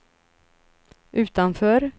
utanför